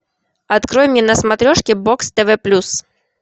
открой мне на смотрешке бокс тв плюс